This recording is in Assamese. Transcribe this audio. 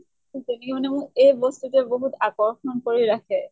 ঠিক তেনেকে মানে মোক এই বস্তুটোয়ে বহুত আকৰ্ষণ কৰি ৰাখে